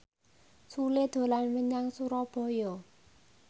Sule dolan menyang Surabaya